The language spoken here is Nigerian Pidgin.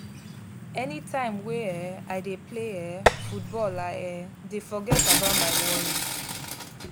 any time wey um i dey play um football i um dey forget about my worries